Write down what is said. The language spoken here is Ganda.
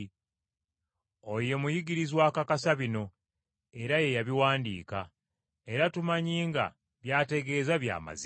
Oyo ye muyigirizwa akakasa bino era ye yabiwandiika. Era tumanyi nga by’ategeeza bya mazima.